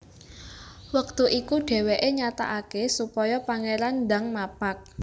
Wektu iku dhèwèké nyatakaké supaya Pangéran ndang mapag